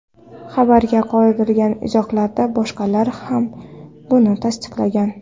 Xabarga qoldirilgan izohlarda boshqalar ham buni tasdiqlagan.